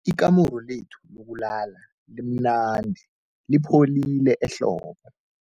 Ikamuru lethu lokulala limnandi lipholile ehlobo.